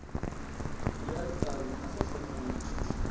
ya ritavi ma sasekile